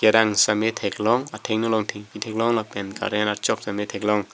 kerang sitame theklong athengno along thengpi theklong lapen current archok sitame theklong.